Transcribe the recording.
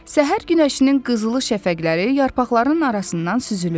Səhər günəşinin qızılı şəfəqləri yarpaqların arasından süzülürdü.